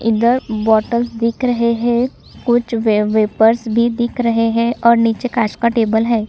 इधर बोतल दिख रहे है कुछ वे वेपर्स भी दिख रहे है और नीचे कांच का टेबल है ।